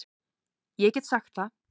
Ég get sagt það.